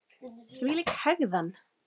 Þvílík hegðan!